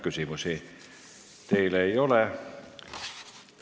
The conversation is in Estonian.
Küsimusi teile ei ole.